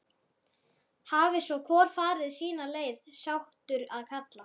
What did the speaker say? Hafi svo hvor farið sína leið, sáttur að kalla.